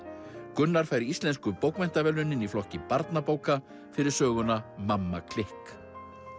Gunnar fær Íslensku bókmenntaverðlaunin í flokki barnabóka fyrir söguna mamma klikk